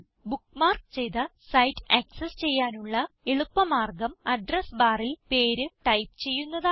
bookmark ചെയ്ത site access ചെയ്യാനുള്ള എളുപ്പ മാർഗം അഡ്രസ് barൽ പേര് ടൈപ്പ് ചെയ്യുന്നതാണ്